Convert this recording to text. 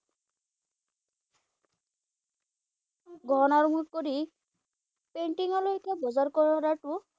গহনা আৰু মুঠ কৰি পেইন্টিঙৰ লৈকে বজাৰ কৰাটো